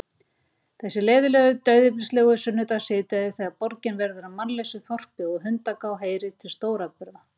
Þessi leiðinlegu dauðyflislegu sunnudagssíðdegi, þegar borgin verður að mannlausu þorpi, og hundgá heyrir til stóratburða.